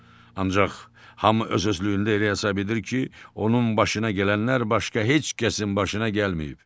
Ancaq hamı öz-özlüyündə elə hesab edir ki, onun başına gələnlər başqa heç kəsin başına gəlməyib.